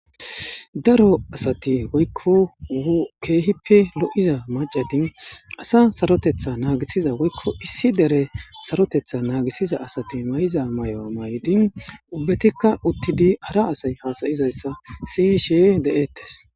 daro asati woykko keehippe lo7iza macadin asa sarotetha naagisiza woykko issi dere sarotetha naagisiza asati may7iza may7o maydin ubbetikka uttidi hara asay haasayizayssa siyishe de7ettes